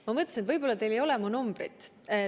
Ma mõtlesin, et võib-olla teil ei ole mu numbrit.